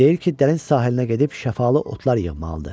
Deyir ki, dəniz sahilinə gedib şəfalı otlar yığmalıdır.